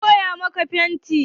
Wa ya koya maka fenti?